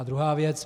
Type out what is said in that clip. A druhá věc.